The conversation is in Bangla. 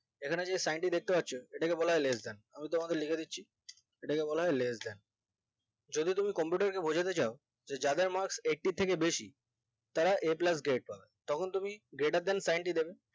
এখানে যে sign টি দেখতে পাচ্ছ এটাকে বলা হয় less than আমি তোমাকে লিখে দিচ্ছি এটাকে বলাহয় less than যদি তুমি computer বোঝাতে যাও যে যাদের marks eighty থেকে বেশি তারা a plus grade পাবে তখন তুমি greater than sign টি দেবে